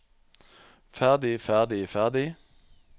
ferdig ferdig ferdig